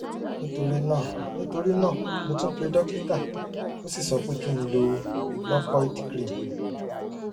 nítorí náà nítorí náà mo tún pe dókítà ó sì sọ pé kí n lo locoid cream